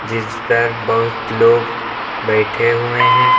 इस पर बहुत लोग बैठे हुए हैं।